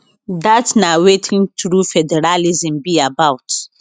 dat na wetin true federalism be about